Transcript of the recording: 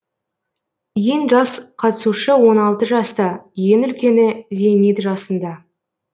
ең жас қатысушы он алты жаста ең үлкені зейнет жасында